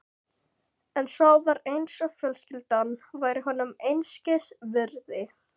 En svo var eins og fjölskyldan væri honum einskis virði.